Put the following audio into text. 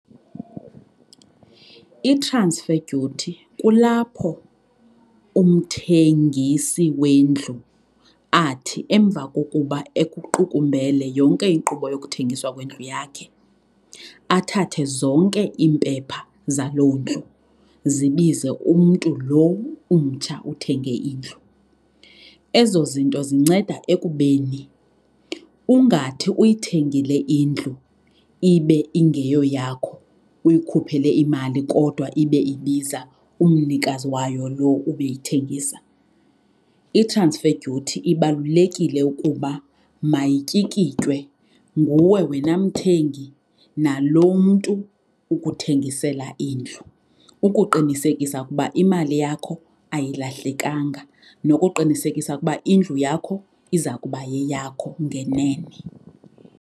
I-transfer duty kulapho umthengisi wendlu athi emva kokuba ekuqukumbele yonke inkqubo yokuthengiswa kwendlu yakhe. Athathe zonke iimpepha zaloo ndlu zibize umntu loo umtsha uthenge indlu. Ezo zinto zinceda ekubeni ungathi uyithengile indlu ibe ingeyoyakho uyikhuphele imali kodwa ibe ibiza umnikazi wayo loo ubeyithengisa. I-transfer duty ibalulekile ukuba mayityikitywe nguwe wena mthengi naloo mntu ukuthengisela indlu ukuqinisekisa ukuba imali yakho ayilahlekanga nokuqinisekisa ukuba indlu yakho iza kuba yeyakho ngenene.